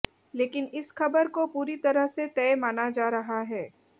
लेकिन इस खबर को पूरी तरह से तय माना जा रहा है